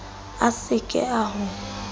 a se ke a ho